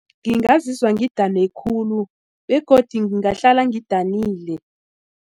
Ngingazizwa ngidane khulu begodu ngingahlala ngidanile.